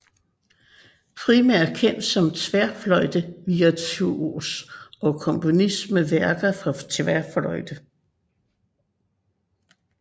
Primært kendt som tværfløjtevirtuos og komponist med værker for tværfløjte